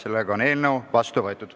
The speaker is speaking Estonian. Eelnõu on seadusena vastu võetud.